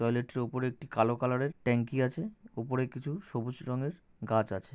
টয়লেটের উপরে একটি কালো কালারের ট্যাংকি আছে। উপরে কিছু সবুজ রঙের গাছ আছে।